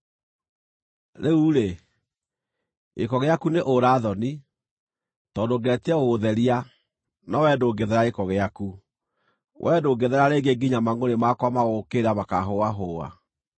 “ ‘Rĩu-rĩ, gĩko gĩaku nĩ ũũra-thoni. Tondũ ngeretie gũgũtheria, no wee ndũngĩthera gĩko gĩaku, wee ndũngĩthera rĩngĩ nginya mangʼũrĩ makwa ma gũgũũkĩrĩra makahũahũa.